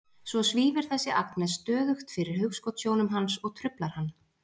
Svo svífur þessi Agnes stöðugt fyrir hugskotssjónum hans og truflar hann.